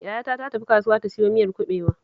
Yayata ta tafi kasuwa ta siyo miyar kuɓewa